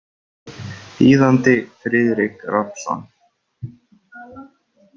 Þýðandi Friðrik Rafnsson.